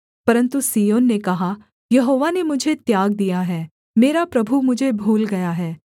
परन्तु सिय्योन ने कहा यहोवा ने मुझे त्याग दिया है मेरा प्रभु मुझे भूल गया है